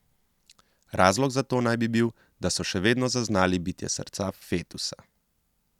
Razlog za to naj bil, da so še vedno zaznali bitje srca fetusa.